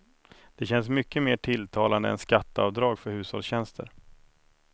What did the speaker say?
Det känns mycket mer tilltalande än skatteavdrag för hushållstjänster.